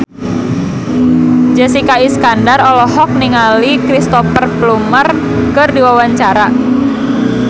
Jessica Iskandar olohok ningali Cristhoper Plumer keur diwawancara